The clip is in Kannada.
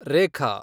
ರೇಖಾ